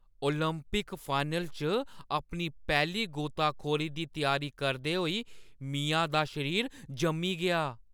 Olympic final च अपनी पैह्‌ली गोताखोरी दी त्यारी करदे होई मिया दा शरीर जम्मी गेआ ।